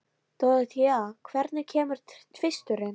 Dorothea, hvenær kemur tvisturinn?